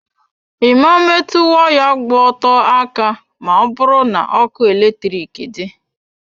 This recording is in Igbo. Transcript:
I ma metụ waya gba ọtọ aka ma ọ bụrụ na ọkụ eletrik dị.